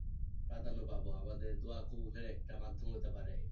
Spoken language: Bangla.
কাঁদানো পাবো, আমাদের দোয়া কবুল হয়ে একটা মাধ্যম হতে পারে